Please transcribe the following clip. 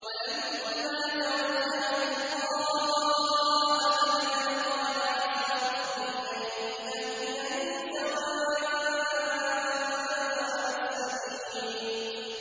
وَلَمَّا تَوَجَّهَ تِلْقَاءَ مَدْيَنَ قَالَ عَسَىٰ رَبِّي أَن يَهْدِيَنِي سَوَاءَ السَّبِيلِ